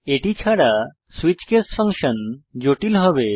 এটি ছাড়া switch case function জটিল হবে